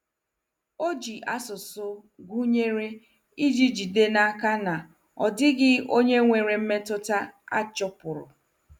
Ọ ji asụsụ gụnyere iji jide n'aka na ọ dịghị onye nwere mmetụta a chụpụrụ.